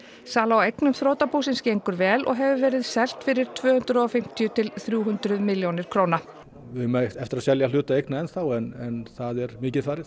sala á eignum þrotabúsins gengur vel og hefur verið selt fyrir tvö hundruð og fimmtíu til þrjú hundruð milljónir króna við eigum eftir að selja hluta eigna ennþá en það er mikið farið